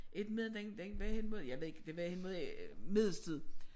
Eftermiddagen den den var hen mod jeg ved ikke det var hen mod middagstid